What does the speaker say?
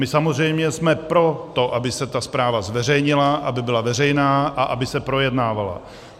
My samozřejmě jsme pro to, aby se ta zpráva zveřejnila, aby byla veřejná a aby se projednávala.